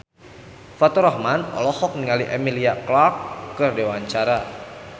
Faturrahman olohok ningali Emilia Clarke keur diwawancara